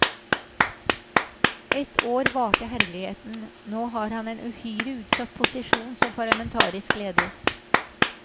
Ett år varte herligheten, nå har han en uhyre utsatt posisjon som parlamentarisk leder.